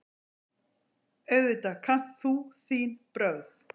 Auðvitað kannt þú þín brögð.